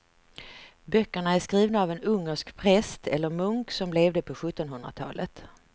Böckerna är skrivna av en ungersk präst eller munk som levde på sjuttonhundratalet.